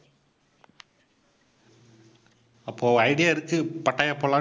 அப்போ idea இருக்கு Pattaya போலாம்னு